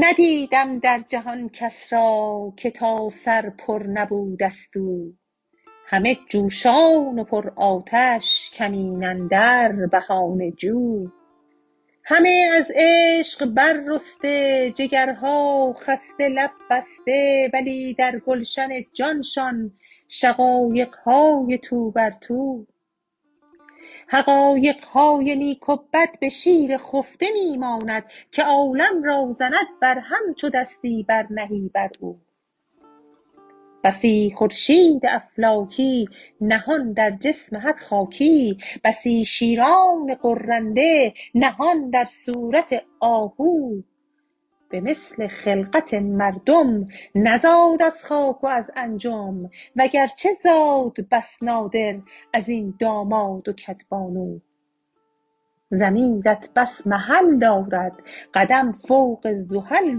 ندیدم در جهان کس را که تا سر پر نبوده ست او همه جوشان و پرآتش کمین اندر بهانه جو همه از عشق بررسته جگرها خسته لب بسته ولی در گلشن جانشان شقایق های تو بر تو حقایق های نیک و بد به شیر خفته می ماند که عالم را زند برهم چو دستی برنهی بر او بسی خورشید افلاکی نهان در جسم هر خاکی بسی شیران غرنده نهان در صورت آهو به مثل خلقت مردم نزاد از خاک و از انجم وگرچه زاد بس نادر از این داماد و کدبانو ضمیرت بس محل دارد قدم فوق زحل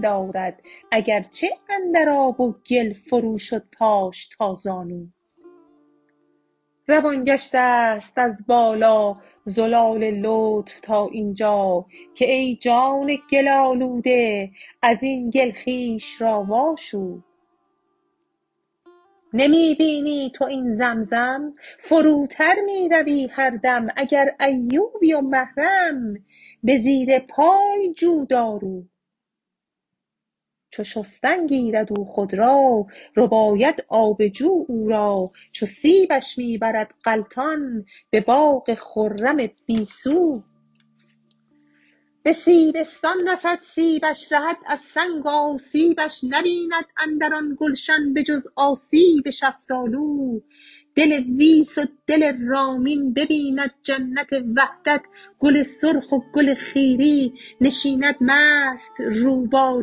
دارد اگرچه اندر آب و گل فروشد پاش تا زانو روان گشته ست از بالا زلال لطف تا این جا که ای جان گل آلوده از این گل خویش را واشو نمی بینی تو این زمزم فروتر می روی هر دم اگر ایوبی و محرم به زیر پای جو دارو چو شستن گیرد او خود را رباید آب جو او را چو سیبش می برد غلطان به باغ خرم بی سو به سیبستان رسد سیبش رهد از سنگ آسیبش نبیند اندر آن گلشن به جز آسیب شفتالو دل ویس و دل رامین ببیند جنت وحدت گل سرخ و گل خیری نشیند مست رو با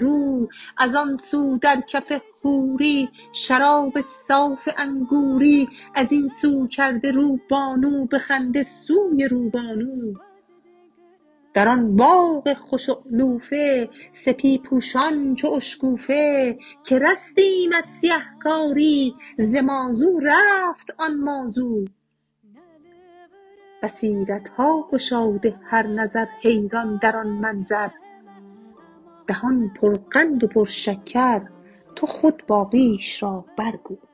رو از آن سو در کف حوری شراب صاف انگوری از این سو کرده رو بانو به خنده سوی روبانو در آن باغ خوش اعلوفه سپی پوشان چو اشکوفه که رستیم از سیه کاری ز مازو رفت آن ما زو بصیرت ها گشاده هر نظر حیران در آن منظر دهان پرقند و پرشکر تو خود باقیش را برگو